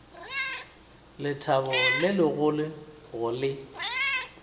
lethabo le legolo go le